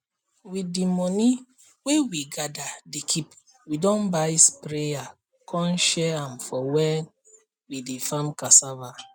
with de money wey we gather dey keepwe don buy sprayer con share am for when we dey farm cassava